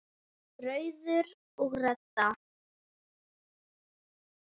Rauður og Redda